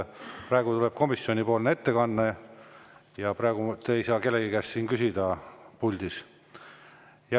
Praegu tuleb komisjoni ettekanne ja praegu ei saa küsida kellegi käest siin puldis.